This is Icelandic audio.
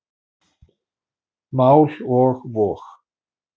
Mál og vog.